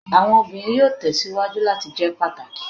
Awọn obinrin yoo tẹsiwaju lati jẹ pataki